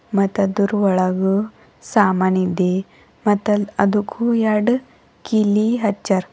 ಮತ್ ಅದರ್ ಒಳಗೂ ಸಾಮಾನ್ ಇದೆ ಮತ್ ಅದುಕು ಎರಡು ಕಿಲಿ ಹಚ್ಚರ್.